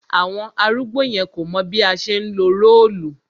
Àwọn arúgbó yẹn kò mọ̀ bí a ṣe ńlo róòlù